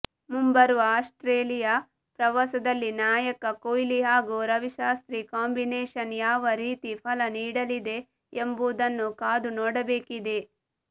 ಮುಂಬರುವ ಆಸ್ಟ್ರೇಲಿಯಾ ಪ್ರವಾಸದಲ್ಲಿ ನಾಯಕ ಕೊಹ್ಲಿ ಹಾಗೂ ರವಿಶಾಸ್ತ್ರಿ ಕಾಂಬಿನೇಷನ್ ಯಾವ ರೀತಿ ಫಲ ನೀಡಲಿದೆ ಎಂಬುದನ್ನು ಕಾದುನೋಡಬೇಕಿದೆ